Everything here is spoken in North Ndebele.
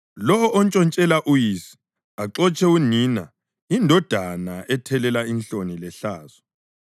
Lowo ontshontshela uyise, axotshe unina yindodana ethelela inhloni lehlazo.